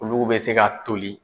Ulugu bɛ se ka toli.